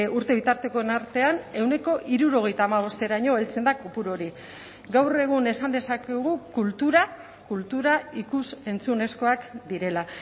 urte bitartekoen artean ehuneko hirurogeita hamabosteraino heltzen da kopuru hori gaur egun esan dezakegu kultura kultura ikus entzunezkoak direla